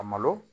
A malo